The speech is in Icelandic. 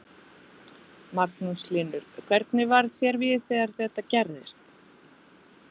Magnús Hlynur: Hvernig varð þér við þegar þetta gerðist?